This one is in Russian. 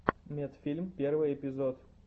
медфильм первый эпизод